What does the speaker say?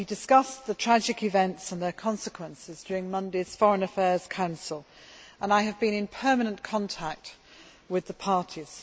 We discussed the tragic events and their consequences during Monday's Foreign Affairs Council and I have been in permanent contact with the parties.